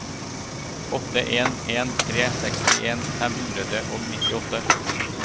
åtte en en tre sekstien fem hundre og nittiåtte